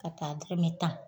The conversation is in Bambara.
K'a ta dɔrɔmɛ tan